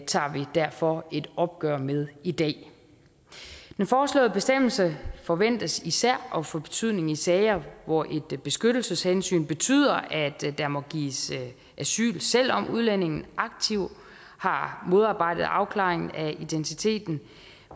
tager vi derfor et opgør med i dag den foreslåede bestemmelse forventes især at få betydning i sager hvor et beskyttelseshensyn betyder at der må gives asyl selv om udlændingen aktivt har modarbejdet afklaringen af identiteten